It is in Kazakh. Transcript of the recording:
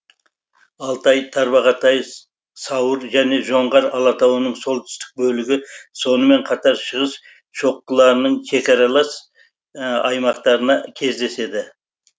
алтай тарбағатай сауыр және жоңғар алатауының солтүстік бөлігі сонымен қатар шығыс шоқыларының шекаралас аймақтарына кездеседі